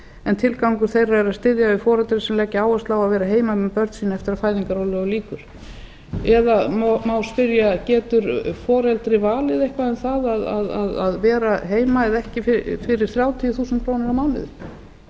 en tilgangur þeirra er að styðja við foreldra sem leggja áherslu á að vera heima með börn sín eftir að fæðingarorlofi lýkur eða má spyrja getur foreldri valið eitthvað það að vera heima eða ekki fyrir þrjátíu þúsund krónur á mánuði það er